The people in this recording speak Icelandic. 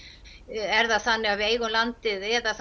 er það þannig að við eigum landið eða